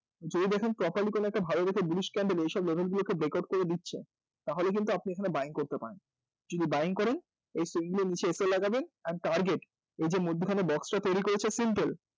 যদি দেখেন properly কোনো একটা ভালো দেখে bluish candle এইসব level গুলোকে breakout করে দিচ্ছে তাহলে কিন্তু আপনি এখানে buying করতে পারেন যদি buying করেন এই single এর নীচে লাগাবেন and target এই যে মধ্যিখানে box টা তৈরি করেছে simple